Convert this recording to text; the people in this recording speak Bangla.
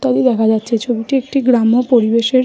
তাই দেখা যাচ্ছে ছবিটি একটি গ্রাম্য পরিবেশে।